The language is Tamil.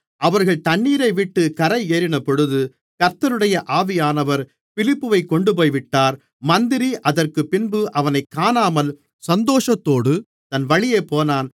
அவர்கள் தண்ணீரைவிட்டுக் கரையேறினபொழுது கர்த்தருடைய ஆவியானவர் பிலிப்பைக் கொண்டுபோய்விட்டார் மந்திரி அதற்குப்பின்பு அவனைக் காணாமல் சந்தோஷத்தோடு தன் வழியே போனான்